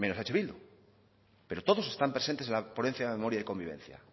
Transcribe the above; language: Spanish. menos eh bildu pero todos están presentes en la ponencia de memoria y convivencia